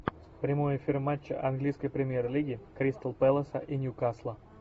прямой эфир матча английской премьер лиги кристал пэласа и ньюкасла